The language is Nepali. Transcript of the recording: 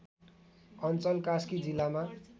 अञ्चल कास्की जिल्लामा